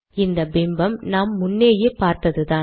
இந்த பிம்பம் நாம் முன்னேயே பார்த்ததுதான்